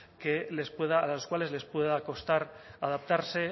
que les pueda a las cuales les pueda costar adaptarse